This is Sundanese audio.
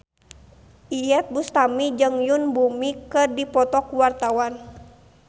Iyeth Bustami jeung Yoon Bomi keur dipoto ku wartawan